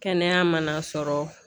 Kɛnɛya mana sɔrɔ